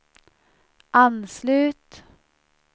anslut